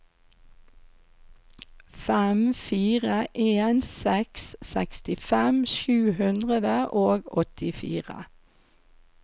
fem fire en seks sekstifem sju hundre og åttifire